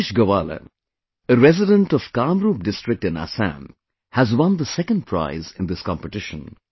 Dinesh Gowala, a resident of Kamrup district in Assam, has won the second prize in this competition